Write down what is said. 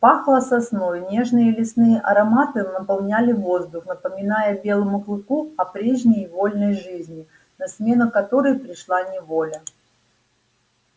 пахло сосной нежные лесные ароматы наполняли воздух напоминая белому клыку о прежней вольной жизни на смену которой пришла неволя